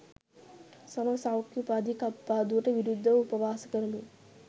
සම සෞඛ්‍ය උපාධි කප්පාදුවට විරුද්ධව උපවාස කරමින්